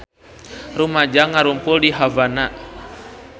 Rumaja ngarumpul di Havana